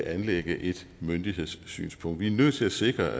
anlægge et myndighedssynspunkt vi er nødt til at sikre